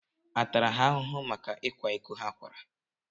À tara ha ahụhụ maka ịkwa iko ha kwara?